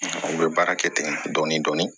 U bɛ baara kɛ ten dɔɔnin dɔɔnin